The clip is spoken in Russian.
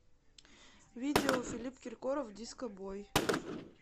видео филипп киркоров диско бой